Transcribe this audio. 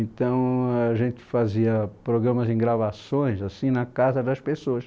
Então a gente fazia programas em gravações, assim, na casa das pessoas.